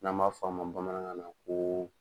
N'an b'a f'a ma bamanankan na kooo.